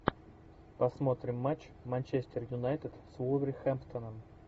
посмотрим матч манчестер юнайтед с вулверхэмптоном